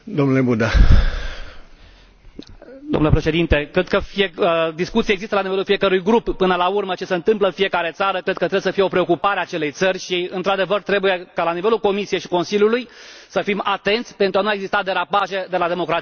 Cred că discuția există la nivelul fiecărui grup, până la urmă ce se întâmplă în fiecare țară trebuie să fie o preocupare a acelei țări și, într adevăr, trebuie ca la nivelul Comisiei și Consiliului să fim atenți pentru a nu exista derapaje de la democrație și, acolo unde acestea există, să se intervină.